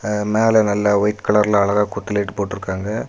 மேல நல்லா வைட் கலர்ல அழகா கொத்து லைட் போட்டுருக்காங்க.